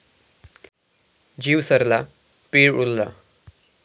जीव सरला पीळ उरला